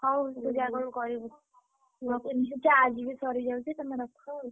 ହଉ ତୁ ଯାଆ କଣ କରିବୁ। ଏମିତି charge ବି ସାରିଯାଉଛି ତମେ ରଖ ଆଉ।